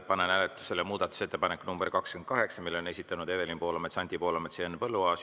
Panen hääletusele muudatusettepaneku nr 28, mille on esitanud Evelin Poolamets, Anti Poolamets ja Henn Põlluaas.